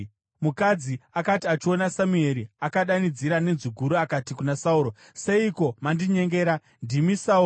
Mukadzi akati achiona Samueri, akadanidzira nenzwi guru akati kuna Sauro, “Seiko mandinyengera? Ndimi Sauro!”